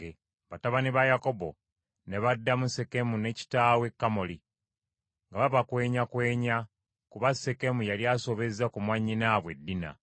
Batabani ba Yakobo ne baddamu Sekemu ne kitaawe Kamoli nga babakwenyakwenya kuba Sekemu yali asobezza ku mwannyinaabwe Dina.